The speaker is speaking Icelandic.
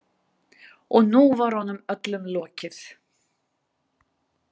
Og nú var honum öllum lokið.